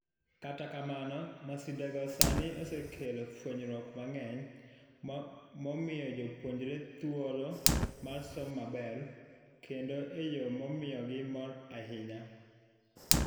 Kata kamano, masindego sani osekelo fuenyruok mang'eny momiyo jopuonjre thuolo mar somo maber kendo eyoo mamiyogi mor ahinya.